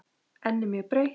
Ennið mjög breitt.